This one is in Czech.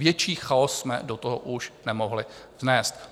Větší chaos jsme do toho už nemohli vnést.